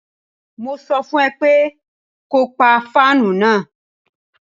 Mo sọ fún ẹ pé ko pa fáànù náà.